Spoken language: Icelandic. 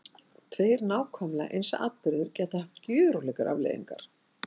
Tveir nákvæmlega eins atburðir geta haft gjörólíkar afleiðingar.